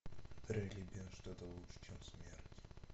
драйлебен что то лучшее чем смерть